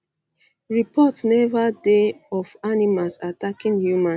report neva dey of animals attacking humans